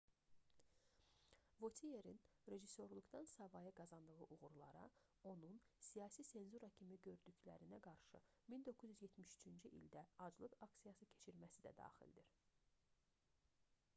votierin rejissorluqdan savayı qazandığı uğurlara onun siyasi senzura kimi gördüklərinə qarşı 1973-cü ildə aclıq aksiyası keçirməsi də daxildir